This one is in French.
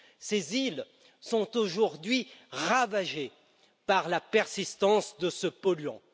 Ces îles sont aujourd'hui ravagées par la persistance de ce polluant.